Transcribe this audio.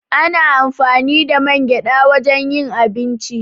Ana amfani da man gyaɗa wajen yin abinci.